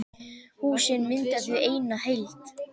Húsin mynda því eina heild.